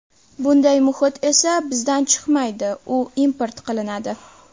Bunday muhit esa bizdan chiqmaydi, u import qilinadi.